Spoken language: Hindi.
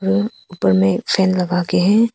ऊपर में एक फैन लगा के हैं।